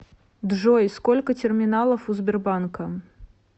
джой сколько терминалов у сбербанка